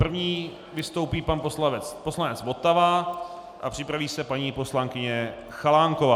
První vystoupí pan poslanec Votava a připraví se paní poslankyně Chalánková.